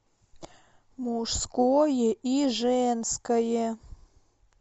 мужское и женское